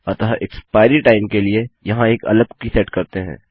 अतः expiry time के लिए यहाँ एक अलग कुकी सेट करते हैं